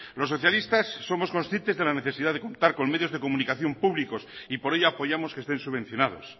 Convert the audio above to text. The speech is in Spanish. los socialistas somos conscientes de la necesidad de contar con medios de comunicación públicos y por ello apoyamos que estén subvencionados